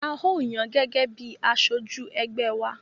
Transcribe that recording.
A ó yàn án gẹ́gẹ́ bíi aṣojú ẹgbẹ́ wa.